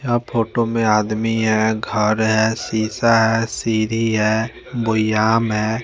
यहाँ फोटो में अदमी है घर है सीसा है सिड़ी है बुयाम है --